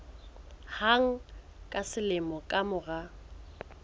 hang ka selemo ka mora